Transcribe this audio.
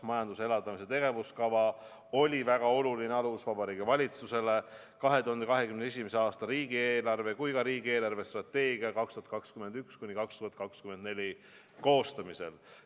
Majanduse elavdamise tegevuskava oli väga oluline alus Vabariigi Valitsusele nii 2021. aasta riigieelarve kui ka riigi eelarvestrateegia 2021–2024 koostamisel.